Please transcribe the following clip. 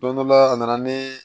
Don dɔ la a nana nii